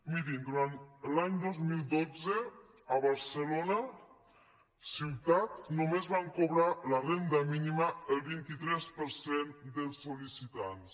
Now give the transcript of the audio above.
mirin durant l’any dos mil dotze a barcelona ciutat només van cobrar la renda mínima el vint tres per cent dels sol·licitants